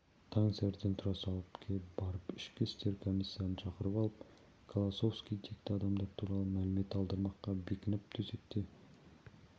таңсәріден тұра салып ке барып ішкі істер комиссарын шақырып алып колосовский текті адамдар туралы мәлімет алдырмаққа бекініп төсекте